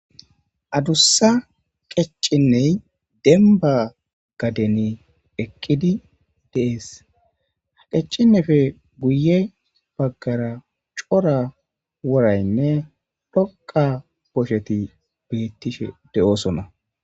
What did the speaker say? Adussa qeccinney denba gadeni eqqidi dees qeccinefe guye baggara cora woraynne dhoqqa bosheti bettishe de'oosona